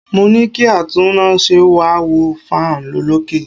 Mo ní kí atúnnáse wá wo fan olókè.